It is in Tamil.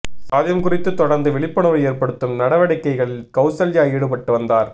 சாதியம் குறித்து தொடர்ந்து விழிப்புணர்வு ஏற்படுத்தும் நடவடிக்கைகளில் கௌசல்யா ஈடுபட்டு வந்தார்